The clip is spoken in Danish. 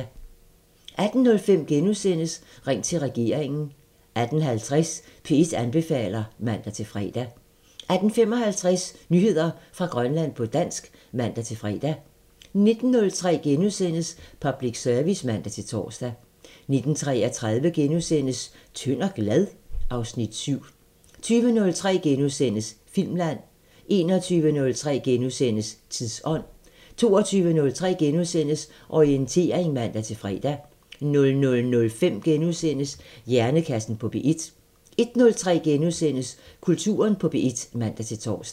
18:05: Ring til regeringen * 18:50: P1 anbefaler (man-fre) 18:55: Nyheder fra Grønland på dansk (man-fre) 19:03: Public Service *(man-tor) 19:33: Tynd og glad? (Afs. 7)* 20:03: Filmland * 21:03: Tidsånd * 22:03: Orientering *(man-fre) 00:05: Hjernekassen på P1 * 01:03: Kulturen på P1 *(man-tor)